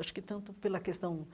Acho que tanto pela questão